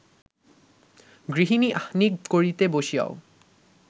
গৃহিণী আহ্নিক করিতে বসিয়াও